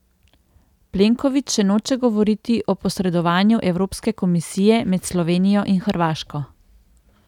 Plenković še noče govoriti o posredovanju evropske komisije med Slovenijo in Hrvaško.